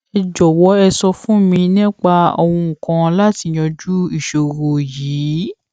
ẹ jòwó ẹ sọ fún mi nípa ohun kan láti yanjú ìṣòro yìí